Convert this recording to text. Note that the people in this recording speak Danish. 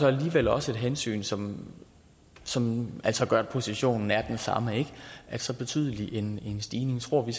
alligevel også et hensyn som som altså gør at positionen er den samme at så betydelig en stigning tror vi